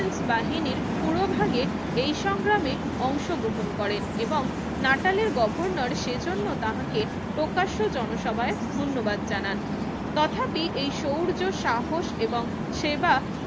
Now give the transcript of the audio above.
ন্স বাহিনীর পুরো ভাগে এই সংগ্রামে অংশগ্রহন করেন এবং নাটালের গর্ভনর সেই জন্য তাঁহাকে প্রকাশ্যে জনসভায় ধন্যবাদ জানান তথাপি এই শৌর্য সাহস এবং সেবা